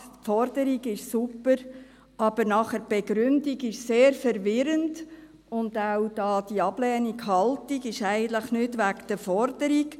Die Forderung ist super, aber die Begründung nachher ist sehr verwirrend, und auch die ablehnende Haltung ist eigentlich nicht wegen der Forderung.